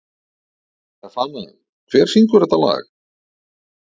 Stefana, hver syngur þetta lag?